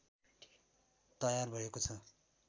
तयार भएको छ